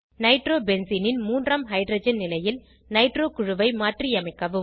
nitro பென்சீனின் மூன்றாம் hydrogen நிலையில் நைட்ரோ குழுவை மாற்றியமைக்கவும்